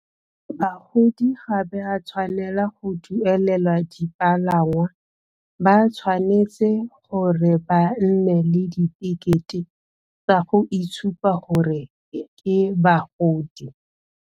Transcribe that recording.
Bagodi ga ba tshwanela go duelela dipalangwa, ba tshwanetse gore ba nne le ditekete tsa go itshupa gore ke bagodi.